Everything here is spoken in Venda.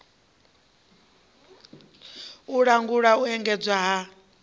u langula u endedzwa ha